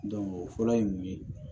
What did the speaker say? o fɔlɔ ye mun ye